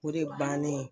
O de bannen